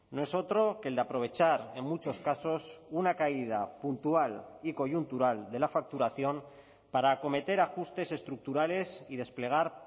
no es otro que el de aprovechar en muchos casos una caída puntual y coyuntural de la facturación para acometer ajustes estructurales y desplegar